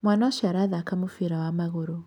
Mwana ũcio arathaka mũbira wa magũrũ